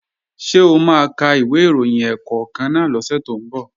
Ṣé o máa ka ìwé ìròyìn ẹ̀ẹ̀kọ̀kan náà lọ́sẹ̀ tó ń bọ̀?